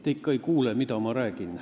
Te ikka ei kuula, mida ma räägin.